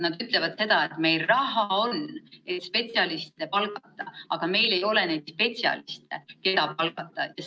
Nad ütlevad seda, et meil on küll spetsialistide palkamiseks raha, aga meil ei ole neid spetsialiste, keda palgata.